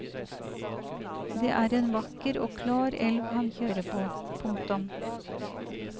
Det er en vakker og klar elv han kjører på. punktum